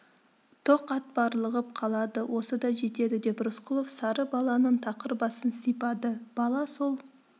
тоқ ат барлығып қалады осы да жетеді деп рысқұлов сары баланың тақыр басын сипады бала сол